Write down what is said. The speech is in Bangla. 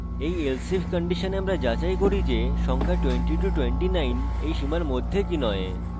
in else if condition আমরা যাচাই করি যে সংখ্যা 2029 in সীমার মধ্যে কি নয়